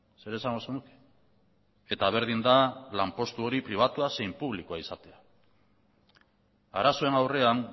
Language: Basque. zer esango zenuke eta berdin da lanpostu hori pribatua zein publikoa izatea arazoen aurrean